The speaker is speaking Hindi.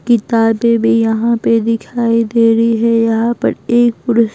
किताबें भी यहां पे दिखाई दे रही है यहां पर एक पुरुष --